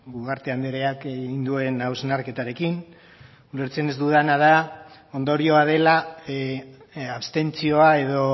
ugarte andreak egin duen hausnarketarekin ulertzen ez dudana da ondorioa dela abstentzioa edo